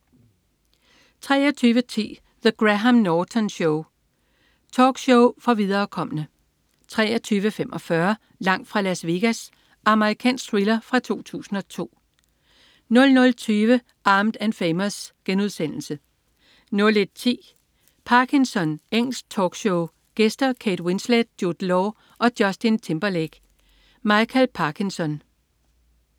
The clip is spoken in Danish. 23.10 The Graham Norton Show. Talkshow for viderekomne 23.45 Langt fra Las Vegas. Amerikansk thriller fra 2002 00.20 Armed & Famous* 01.10 Parkinson. Engelsk talkshow. Gæster: Kate Winslet, Jude Law og Justin Timberlake. Michael Parkinson